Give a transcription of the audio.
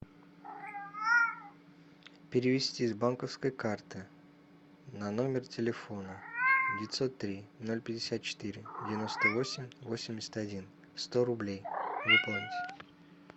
перевести с банковской карты на номер телефона девятьсот три ноль пятьдесят четыре девяносто восемь восемьдесят один сто рублей выполнить